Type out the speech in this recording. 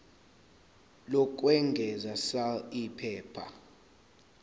lokwengeza sal iphepha